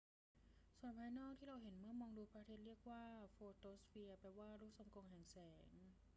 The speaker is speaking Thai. ส่วนภายนอกที่เราเห็นเมื่อมองดูพระอาทิตย์เรียกว่าโฟโตสเฟียร์ แปลว่า ลูกทรงกลมแห่งแสง